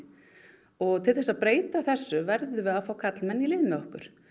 og til þess að breyta þessu verðum við að fá karlmenn í lið með okkur